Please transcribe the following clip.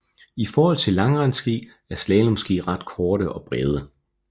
I forhold til langrendsski er slalomski ret korte og brede